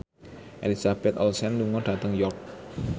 Elizabeth Olsen lunga dhateng York